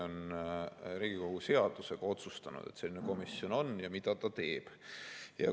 Riigikogu seadusega on otsustatud, et selline komisjon on, ja ka see, mida ta teeb.